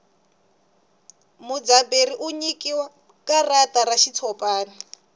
mudzaberi u nyikiwa karata ra xitshopani